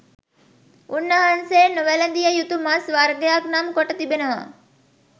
උන් වහන්සේ නොවැලඳිය යුතු මස් වර්ගක් නම් කොට තිබෙනවා